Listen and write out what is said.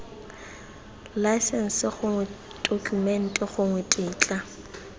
laesense gongwe tokumente gongwe tetla